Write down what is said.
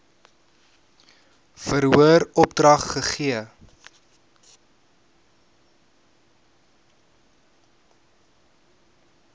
verhoor opdrag gegee